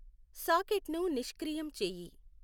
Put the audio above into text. సాకెట్ను నిష్క్రియం చెయ్యి